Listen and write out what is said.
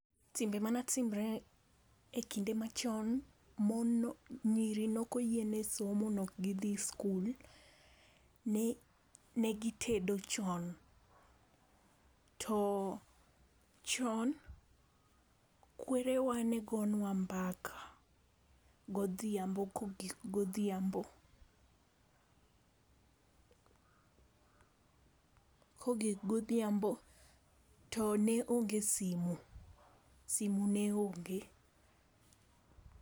Timbe mane timre ekinde machon, mon no nyiri ne ok oyienigi somo ne ok dhi sikul, ne gitedo chon. To chon kwerewa ne gonwa mbaka godhiambo kogik godhiambo. Kogik godhiambo to neonge simu, simu ne onge.